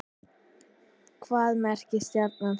Hvað merkir stjarna þessi?